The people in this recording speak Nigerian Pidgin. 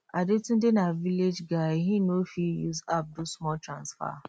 adetunde na village guy he no fit use app do small transfer